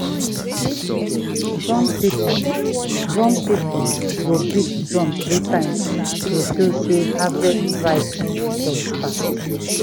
drum people drum people go beat drum three times to show sey harvest rite don start.